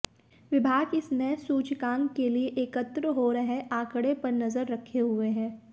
विभाग इस नए सूचकांक के लिए एकत्र हो रहे आंकड़े पर नजर रखे हुए है